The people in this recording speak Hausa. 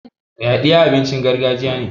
yaɗiya abincin gargajiya ne